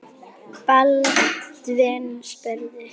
Baldvin spurði